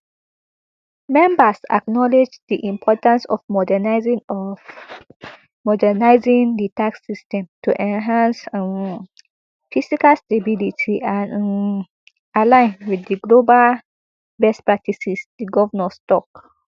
members acknowledged di importance of modernising of modernising di tax system to enhance um fiscal stability and um align with global best practices di govnors tok